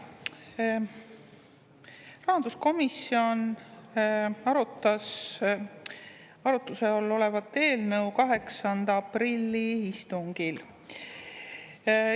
Rahanduskomisjon arutas arutluse all olevat eelnõu 8. aprilli istungil.